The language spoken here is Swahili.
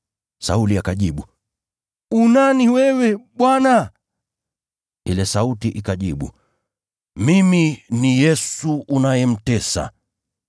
Sauli akajibu, “U nani wewe, Bwana?” Ile sauti ikajibu, “Mimi ni Yesu unayemtesa.